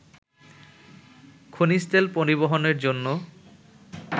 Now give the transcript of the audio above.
খনিজ তেল পরিবহনের জন্য